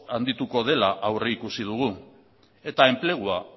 handituko dela aurreikusi dugu eta enplegua